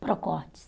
Procortes.